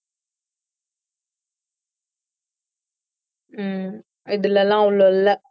ஹம் இதுல எல்லாம் அவ்ளோ இல்லை